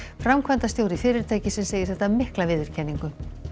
framkvæmdastjóri fyrirtækisins segir þetta mikla viðurkenningu